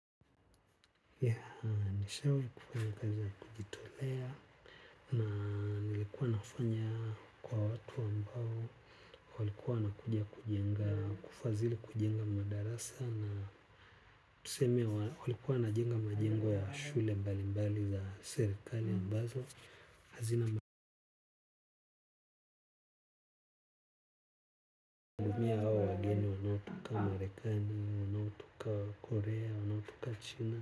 Nishawahi kufanya kazi ya kujitolea na nilikuwa ninafanya kwa watu ambao walikuwa wanakuja kujenga kufadhili kujenga madarasa na tuseme walikuwa wanajenga majengo ya shule mbalimbali za serikali ambazo hazina magamia ya hao wageni Marekani wanaotoka Korea wanaotoka China.